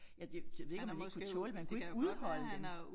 Jeg jeg jeg ved ikke om han ikke kunne tåle det men han kunne ikke udholde dem